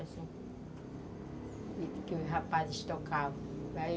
E os rapazes tocavam.